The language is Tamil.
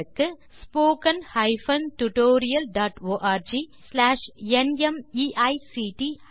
spoken hyphen tutorial dot org slash நிமைக்ட் ஹைபன் இன்ட்ரோ மூல பாடம் தேசி க்ரூ சொலூஷன்ஸ்